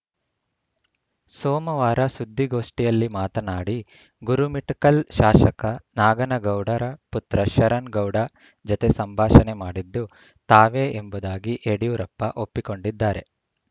ಸೋಮವಾರ ಸುದ್ದಿಗೋಷ್ಠಿಯಲ್ಲಿ ಮಾತನಾಡಿ ಗುರುಮಿಠಕಲ್‌ ಶಾಸಕ ನಾಗನಗೌಡರ ಪುತ್ರ ಶರಣ್‌ ಗೌಡ ಜೊತೆ ಸಂಭಾಷಣೆ ಮಾಡಿದ್ದು ತಾವೇ ಎಂಬುದಾಗಿ ಯಡಿಯೂರಪ್ಪ ಒಪ್ಪಿಕೊಂಡಿದ್ದಾರೆ